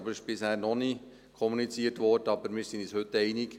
Bisher wurde noch nicht kommuniziert, aber wir sind uns heute einig: